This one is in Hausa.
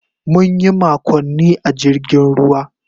Mun yi makonni a jirgin ruwa.